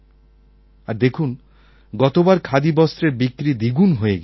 আর দেখুন গতবার খাদিবস্ত্রের বিক্রি দ্বিগুণ হয়ে গিয়েছিল